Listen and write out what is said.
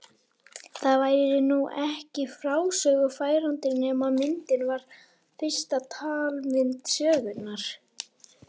Það væri nú ekki frásögu færandi nema myndin var fyrsta talmynd sögunnar.